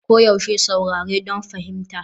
Koyaushe saurare don fahimta.